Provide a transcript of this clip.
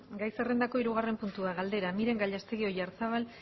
gai zerrendako hirugarren puntua galdera miren gallastegui oyarzábal